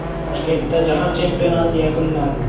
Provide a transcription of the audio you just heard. Toshkentda jahon chempionati yakunlandi.